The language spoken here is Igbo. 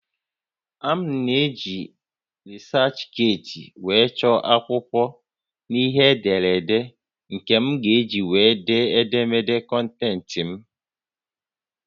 M na-eji researchgate were chọọ akwụkwọ na ihe ederede nke m ga-eji were dee édémédé kọntentị m